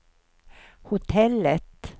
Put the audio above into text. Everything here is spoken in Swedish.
hotellet